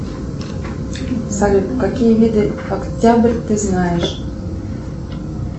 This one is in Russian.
салют какие виды октябрь ты знаешь